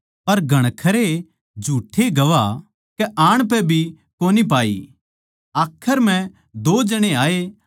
पर घणखरे झूठ्ठे गवाह कै आण पै भी कोनी पाई आखर म्ह दो जणे आये